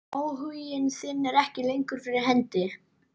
Áhuginn er ekki lengur fyrir hendi.